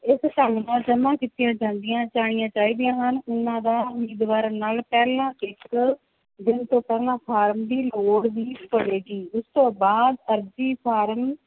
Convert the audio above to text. ਇਸ ਢੰਗ ਨਾਲ ਜਮਾਂ ਕੀਤੀਆਂ ਜਾਂਦੀਆਂ ਜਾਣੀਆਂ ਚਾਹੀਦੀਆਂ ਹਨ, ਉਹਨਾਂ ਦਾ ਉਮੀਦਵਾਰਾਂ ਨਾਲ ਪਹਿਲਾਂ ਤੋਂ ਪਹਿਲਾਂ ਫਾਰਮ ਦੀ ਲੋੜ ਵੀ ਪਵੇਗੀ, ਉਸ ਤੋਂ ਬਾਅਦ ਅਰਜੀ ਫਾਰਮ